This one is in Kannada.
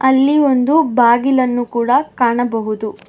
ಅಲ್ಲಿ ಒಂದು ಬಾಗಿಲನ್ನು ಕೂಡ ಕಾಣಬಹುದು.